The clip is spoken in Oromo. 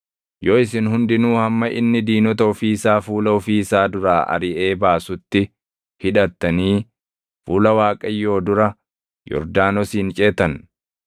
yoo isin hundinuu hamma inni diinota ofii isaa fuula ofii isaa duraa ariʼee baasutti hidhattanii fuula Waaqayyoo dura Yordaanosin ceetan,